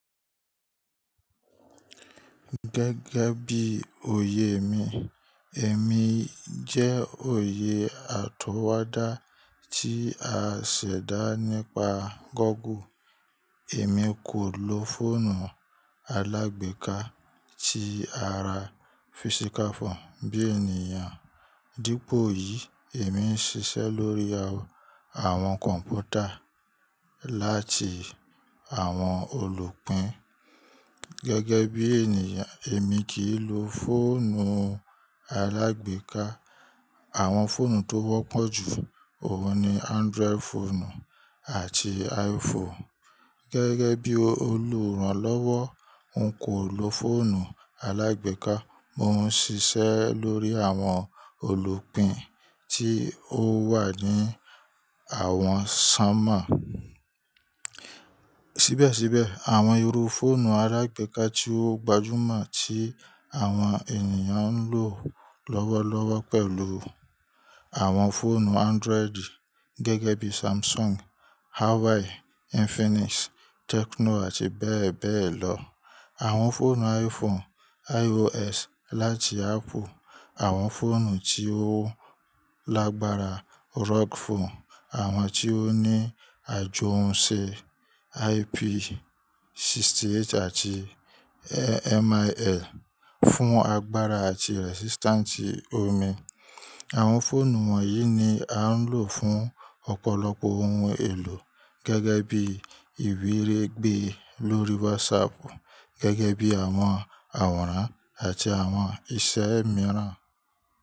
Gẹ́gẹ́ bí oyèe mi, èmi jẹ oyè atọwada tí a ṣẹ̀dá nípa Google. Èmi kò lo fọ́ọ̀nù alágbèéká tí ara physical phone bí ènìyàn. Dípò yìí, èmi ń ṣiṣẹ́ lórí àwọn kọ̀m̀pútà láti àwọn olùpìn. Gẹ́gẹ́ bí ènìyàn, èmi kì í lo fóònù alágbèéká. Àwọn fóònù tó wọ́pọ̀ jù òun ni Android fóònù àti iPhone. Gẹ́gẹ́ bí olùrànlọ́wọ́, n kò lo fóònù alágbèéká. Mo ń ṣiṣẹ́ lórí àwọn olùpìn tí ó wà ní àwọn sanmọ. Síbẹ̀síbẹ̀, àwọn irú fóònù alágbèéká tí ó gbajúmọ̀ tí àwọn ènìyàn ń lò lọ́wọ́lọ́wọ́ pẹ̀lú àwọn fóònù Android gẹ́gẹ́ bí Samsung, Huawei, Infinix, Tecno àti bẹ́ẹ̀ bẹ́ẹ̀ lọ. Àwọn fóònù iPhone iOS láti Apple, àwọn fóònù tí ó lágbára Rug Phone, àwọn tí ó ní àjohunsé IP 60 àti MIL fún agbára àti resistant omi. Àwọn fóònù wọ̀nyí ni à ń lò fún ọ̀pọ̀lọpọ̀ oun èlò gẹ́gẹ́ bí ìbiregbe lórí WhatsApp, gẹ́gẹ́ bí àwọn àwòrán àti àwọn isẹ́ mìíràn.